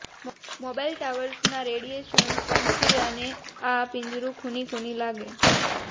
mobile ટાવર્સના radiation પંખીડાને આ પિંજરું ખૂની ખૂની લાગે